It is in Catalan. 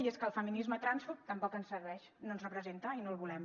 i és que el feminisme transfòbic tampoc ens serveix no ens representa i no el volem